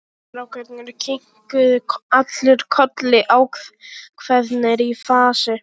Strákarnir kinkuðu allir kolli ákveðnir í fasi.